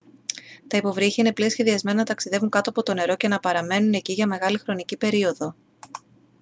τα υποβρύχια είναι πλοία σχεδιασμένα να ταξιδεύουν κάτω από το νερό και να παραμένουν εκεί για μεγάλη χρονική περίοδο